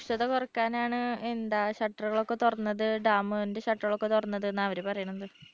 രൂക്ഷത കുറയ്ക്കാൻ ആണ് എന്താ shutter കൾ ഒക്കെ തുറന്നത് dam ന്റെ shutter കൾ ഒക്കെ തുറന്നത് എന്നാ അവര് പറയുന്നത്.